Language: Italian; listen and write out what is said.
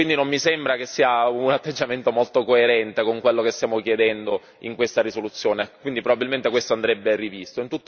Non mi sembra che sia un atteggiamento molto coerente con quello che stiamo chiedendo in questa risoluzione, quindi probabilmente questo andrebbe rivisto.